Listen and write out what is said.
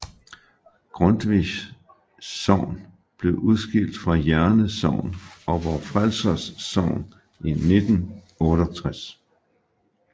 Grundtvigs Sogn blev udskilt fra Jerne Sogn og Vor Frelsers Sogn i 1968